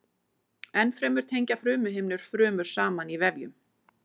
Ennfremur tengja frumuhimnur frumur saman í vefjum.